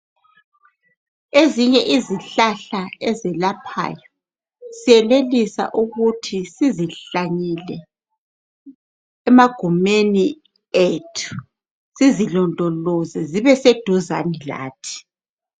Ezinye izihlahla ezelaphayo siyenelisa ukuthi sizihlanyele emagumeni ethi sizilondoloze zibe seduzane lathi.